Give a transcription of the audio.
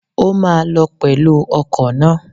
O máa lọ pẹ̀lú ọkọ̀ náà.